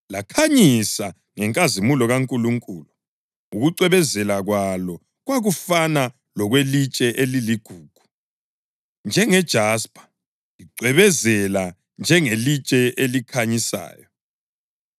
Lakhanyisa ngenkazimulo kaNkulunkulu, ukucwebezela kwalo kwakufana lokwelitshe eliligugu, njengejaspa, licwebezela njengelitshe elikhanyisayo.